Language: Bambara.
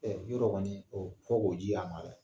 Ɛɛ yɔrɔ kɔni o fo k'o di a ma dɛɛ!